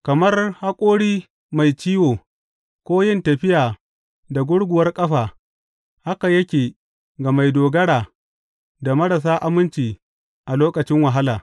Kamar haƙori mai ciwo ko yin tafiya da gurguwar ƙafa haka yake ga mai dogara da marasa aminci a lokacin wahala.